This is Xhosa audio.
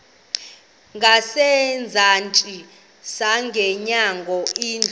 ngasezantsi ngasemnyango indlu